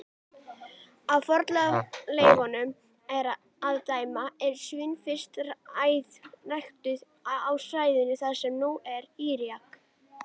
Af fornleifum að dæma voru svín fyrst ræktuð á svæðum þar sem nú er Írak.